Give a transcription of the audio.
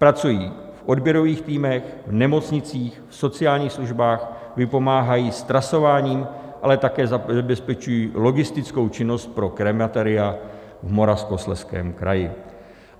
Pracují v odběrových týmech, v nemocnicích, v sociálních službách, vypomáhají s trasováním, ale také zabezpečují logistickou činnost pro krematoria v Moravskoslezském kraji.